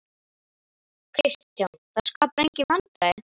Kristján: Það skapar engin vandræði?